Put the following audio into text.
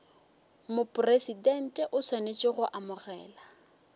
mopresidente o swanetše go amogela